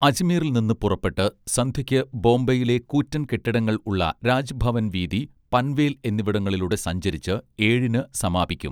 അജ്മീറിൽ നിന്ന് പുറപ്പെട്ട് സന്ധ്യയ്ക്ക് ബോംബെയിലെ കൂറ്റൻകെട്ടിടങ്ങൾ ഉള്ള രാജ്ഭവൻ വീഥി പൻവേൽ എന്നിവിടങ്ങളിലൂടെ സഞ്ചരിച്ച് ഏഴിന് സമാപിക്കും